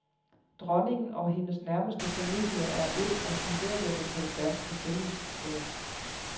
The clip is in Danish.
Dronningen og hendes nærmeste familie er et af symbolerne på det danske fællesskab.